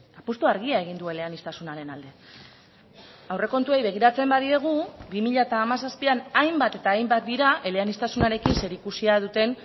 apustu argia egin du eleaniztasunaren alde aurrekontuei begiratzen badiegu bi mila hamazazpian hainbat eta hainbat dira eleaniztasunarekin zerikusia duten